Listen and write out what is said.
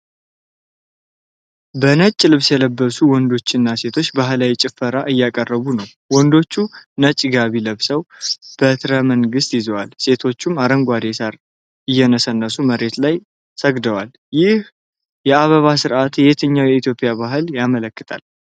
በነጭ ልብስ የለበሱ ወንዶችና ሴቶች ባህላዊ ጭፈራ እያቀረቡ ነው። ወንዶቹ ነጭ ጋቢ ለብሰው በትረ መንግሥት ይዘዋል፤ ሴቶቹም አረንጓዴ ሣር እየነሰነሱ መሬት ላይ ሰግደዋል። ይህ የአበባ ሥርዓት የትኛውን የኢትዮጵያ በዓል ያመለክታል?